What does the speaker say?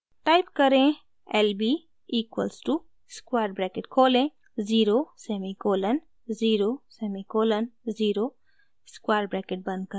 type करें: lb equals to square bracket खोलें 0 semicolon 0 semicolon 0 square bracket बंद करें